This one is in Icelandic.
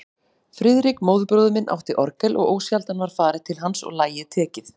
Friðrik, móðurbróðir minn, átti orgel og ósjaldan var farið til hans og lagið tekið.